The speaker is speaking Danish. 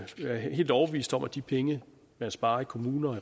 helt overbevist om at de penge man sparer i kommuner